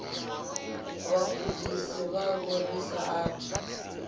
vhagudisi vhavho ri sa athu